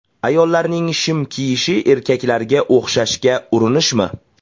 Ayollarning shim kiyishi erkaklarga o‘xshashga urinishmi?